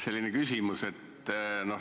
Selline küsimus.